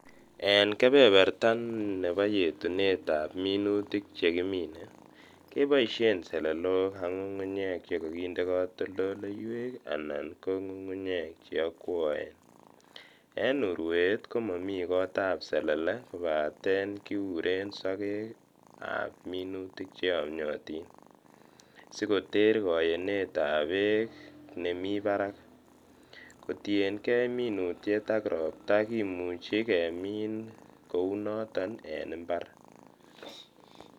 En kebeberta nebo yetunetab minutik chekimine keboishen selelok ak ng'ung'unyek chekokindee kotoldoleiwek anan ko ng'ung'unyek cheokwoen, en urweet komomii kotab selele kobaten kiuren sokekab minutik cheyomnyotin sikoter koyenetab beek nemii barak, kotieng'e minutiet ak robta kimuchi kemiin kounoton en mbar.